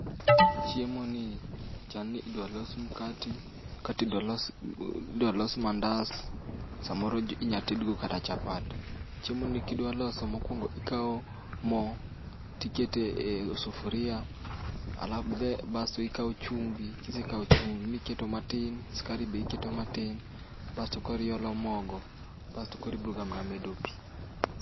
Chiemoni chal ni idwa los mkate, kata idwa los mandas samoro inyalo tedgo kata chapat. Chiemoni kidwa loso mokuongo ikawo mo, iketo e sufuria alafu be basto ikawo chumbi, kisekawo chumbi iketo matin, sukari be iketo matin basto koro iolo mogo. Basto koro iboga mana medo pi.